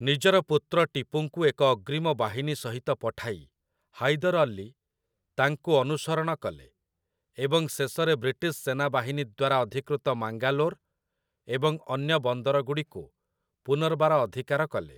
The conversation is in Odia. ନିଜର ପୁତ୍ର ଟିପୁଙ୍କୁ ଏକ ଅଗ୍ରୀମ ବାହିନୀ ସହିତ ପଠାଇ ହାଇଦର୍ ଅଲୀ ତାଙ୍କୁ ଅନୁସରଣ କଲେ, ଏବଂ ଶେଷରେ ବ୍ରିଟିଶ୍ ସେନାବାହିନୀ ଦ୍ୱାରା ଅଧିକୃତ ମାଙ୍ଗାଲୋର୍ ଏବଂ ଅନ୍ୟ ବନ୍ଦରଗୁଡ଼ିକୁ ପୁନର୍ବାର ଅଧିକାର କଲେ ।